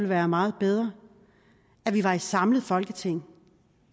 være meget bedre at vi var et samlet folketing